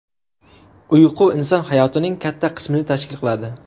Uyqu inson hayotining katta qismini tashkil qiladi.